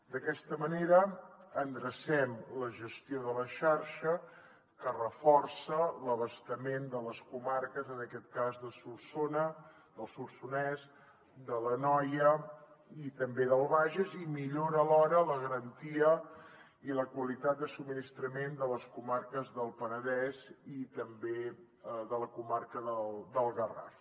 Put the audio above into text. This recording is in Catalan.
d’aquesta manera endrecem la gestió de la xarxa que reforça l’abastament de les comarques en aquest cas del solsonès de l’anoia i també del bages i millora alhora la garantia i la qualitat de subministrament de les comarques del penedès i també de la comarca del garraf